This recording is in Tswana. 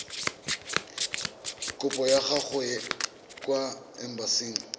kopo ya gago kwa embasing